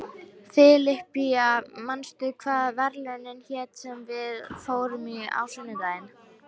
Filippía, manstu hvað verslunin hét sem við fórum í á sunnudaginn?